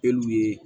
E n'u ye